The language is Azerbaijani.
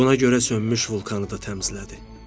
Buna görə sönmüş vulkanı da təmizlədi.